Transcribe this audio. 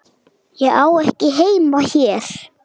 Ég á ekki heima hér.